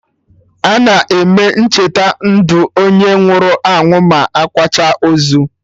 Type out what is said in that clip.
Ana eme Ncheta ndụ onye nwụrụ anwụ ma akwacha ozu